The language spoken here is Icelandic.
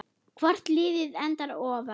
Hvort liðið endar ofar?